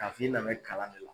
K'a f'i nan bɛ kalan de la.